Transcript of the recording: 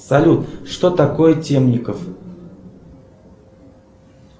салют что такое темников